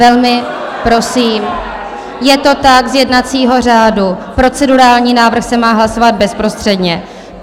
Velmi prosím, je to tak, z jednacího řádu, procedurální návrh se má hlasovat bezprostředně.